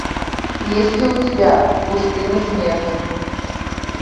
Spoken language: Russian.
есть ли у тебя в пустыне смерти